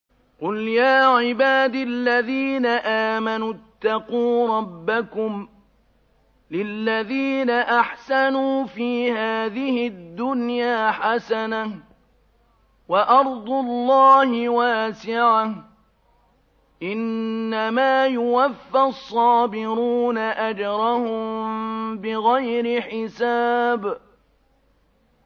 قُلْ يَا عِبَادِ الَّذِينَ آمَنُوا اتَّقُوا رَبَّكُمْ ۚ لِلَّذِينَ أَحْسَنُوا فِي هَٰذِهِ الدُّنْيَا حَسَنَةٌ ۗ وَأَرْضُ اللَّهِ وَاسِعَةٌ ۗ إِنَّمَا يُوَفَّى الصَّابِرُونَ أَجْرَهُم بِغَيْرِ حِسَابٍ